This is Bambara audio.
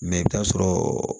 i bɛ t'a sɔrɔ